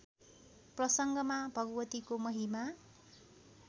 प्रसङ्गमा भगवतीको महिमा